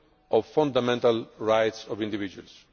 of the fundamental rights of individuals.